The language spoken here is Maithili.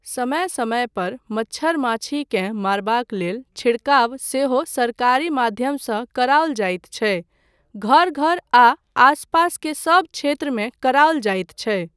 समय समय पर मच्छर माछीकेँ मारबाक लेल छिड़काव सेहो सरकारी माध्यमसँ कराओल जाइत छै, घर घर आ आस पास के सब क्षेत्रमे कराओल जाइत छै।